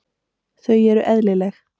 Þau eru eðlileg.